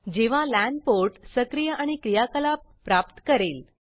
जेव्हा लान portलैन पोर्टसक्रिय आणि क्रियाकलाप प्राप्त करेल